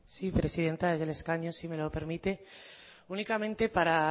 sí presidenta desde el escaño si me lo permite únicamente para